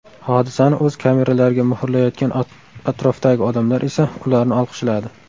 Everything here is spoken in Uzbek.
Hodisani o‘z kameralariga muhrlayotgan atrofdagi odamlar esa ularni olqishladi.